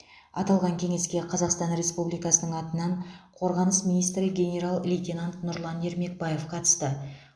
аталған кеңеске қазақстан республикасының атынан қорғаныс министрі генерал лейтенант нұрлан ермекбаев қатысты